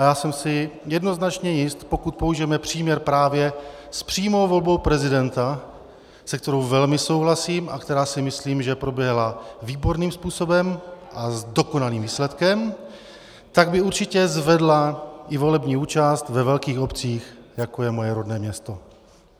A já jsem si jednoznačně jist, pokud použijeme příměr právě s přímou volbou prezidenta, se kterou velmi souhlasím a která, si myslím, že proběhla výborným způsobem a s dokonalým výsledkem, tak by určitě zvedla i volební účast ve velkých obcích, jako je moje rodné město.